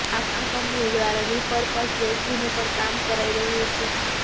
આ કંપની દ્વારા repurpose vaccine ઉપર કામ કરાઈ રહ્યું છે